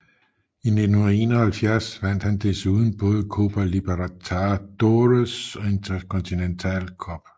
I 1971 vandt han desuden både Copa Libertadores og Intercontinental Cup